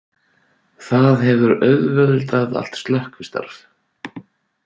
Það hefur auðveldað allt slökkvistarf